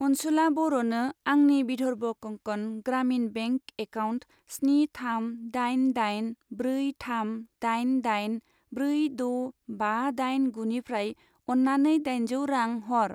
अनसुला बर'नो आंनि बिधर्व कंकन ग्रामिन बेंक एकाउन्ट स्नि थाम दाइन दाइन ब्रै थाम दाइन दाइन ब्रै द' बा दाइन गुनिफ्राय अन्नानै दाइनजौ रां हर।